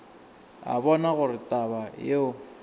a bona gore taba yeo